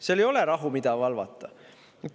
Seal ei ole rahu, mida valvata!